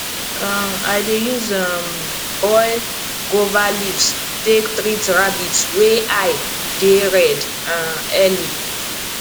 um i dey use um boil guava leaves take treat rabbit wey eye dey red um early